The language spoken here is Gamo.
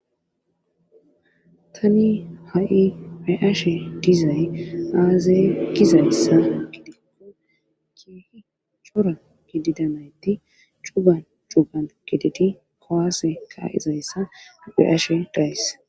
Tani ha7i peashe dizay aazay gizayssa gidikko kihi cora gididanayti cugan jugan gidedi kowaaseka izayssa dipheashe dayss.